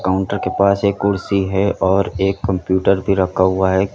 counter के पास एक कुर्सी है और एक कंप्यूटर भी रखा हुआ है कि--